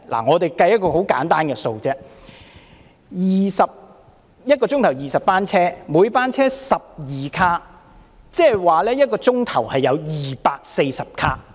我們簡單計算一下 ，1 個小時20班車，每班車12卡，即是1小時有240卡。